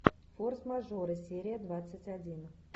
форс мажоры серия двадцать один